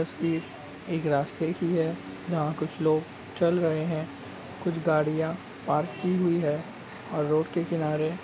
तस्वीर एक रास्ते की है जहाँ कुछ लोग चल रहै हैं कुछ गाड़ियां पार्क की हुई हैं और रोड के किनारे --